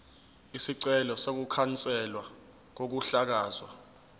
isicelo sokukhanselwa kokuhlakazwa